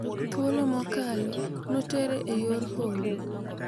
Thuolo mokalo notere e yor holo.